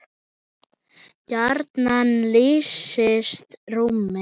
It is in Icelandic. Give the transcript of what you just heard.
gjarnan lýsist rúmið